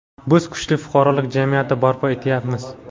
Biz kuchli fuqarolik jamiyati barpo etyapmiz.